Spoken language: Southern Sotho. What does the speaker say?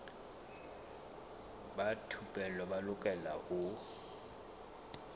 ba thupelo ba lokela ho